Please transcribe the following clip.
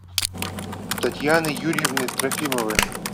татьяны юрьевны трофимовой